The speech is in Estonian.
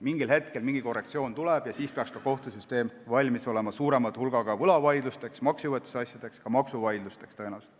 Mingil hetkel tuleb korrektsioon ja siis peaks kohtusüsteem olema valmis suuremaks hulgaks võlavaidlusteks, maksejõuetuse asjadeks, tõenäoliselt ka maksuvaidlusteks.